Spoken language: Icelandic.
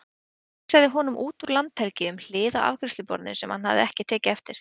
Vísaði honum út úr landhelgi um hlið á afgreiðsluborðinu sem hann hafði ekki tekið eftir.